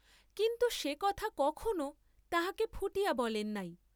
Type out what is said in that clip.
কিন্তু সে কথা কখনও তাহাকে ফুটিয়া বলেন নাই।